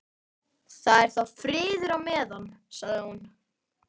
Það er þá friður á meðan, sagði hún.